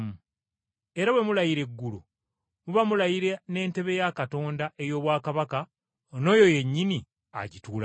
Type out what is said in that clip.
Era bwe mulayira eggulu, muba mulayira n’entebe ya Katonda ey’obwakabaka n’oyo yennyini agituulako.